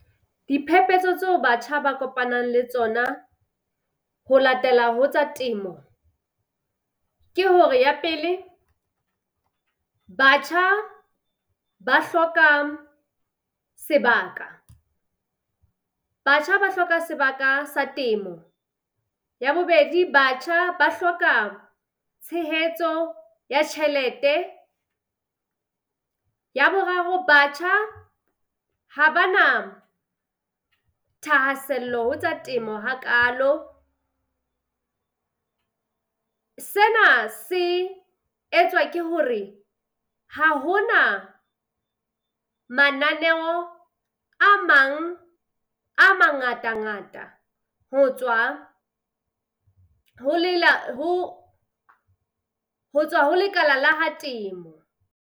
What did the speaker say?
Diphephetso tseo batjha ba kopanang le tsona ho latela ho tsa temo ke hore, ya pele, batjha ba hloka sebaka batjha ba hloka sebaka sa temo. Ya bobedi, batjha ba hloka tshehetso ya tjhelete. Ya boraro batjha ha ba na thahasello ho tsa temo hakalo, sena se etswa ke hore ha ho na mananeo a mang a mangata-ngata ho tswa ho ho ho tswa ho lekala la ha temo.